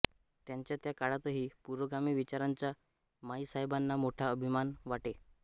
त्यांच्या त्या काळातही पुरोगामी विचारांचा माईसाहेबांना मोठा अभिमान वाटे